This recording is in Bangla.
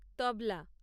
তবলা